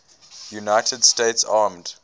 united states armed